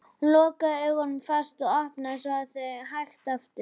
Hún lokaði augunum fast og opnaði þau svo hægt aftur.